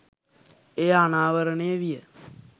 එය අනාවරණය විය